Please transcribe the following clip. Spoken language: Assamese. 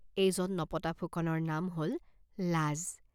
এইজন নপতা ফুকনৰ নাম হল লাজ।